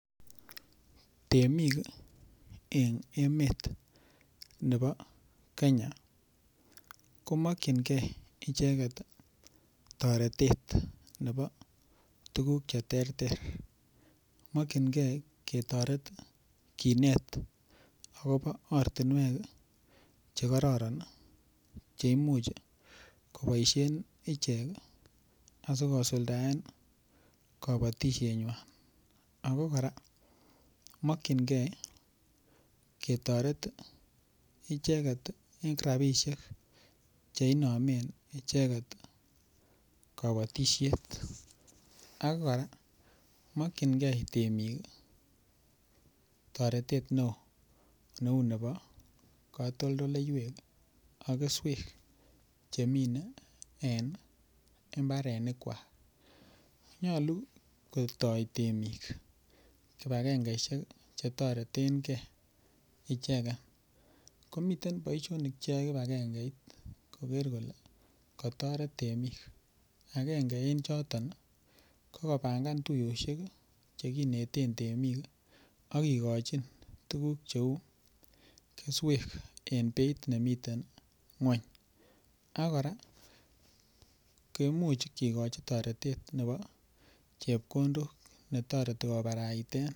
Temik ii eng emet nebo kenya komokchinkei icheket ii toretet nebo tukuk che terter, mokchinkei ketoret kinet akobo ortinwek ii che kororon ii cheimuch koboisien ichek asikosuldaen kabatisienywan ako kora mokchinkei ketoret icheket ii eng rabiisiek che inomen icheket kabatisiet, ak kora mokchinkei temik ii toretet ne oo neu nebo katoldoleiwek ak keswek chemine en imbarenikwak, nyalu kotoi temik kibagengeisiek che toretenkei icheket, komiten boisionik che yoe kibagengeit koker kole katoret temik akenge en choton ii ko kobangan tuiyosiek ii che kineten temik ii ak kikochin tukuk cheu keswek en beit nemiten nguny, ak kora kimuch kekochi toretet nebo chepkondok ne toreti kobaraiten.....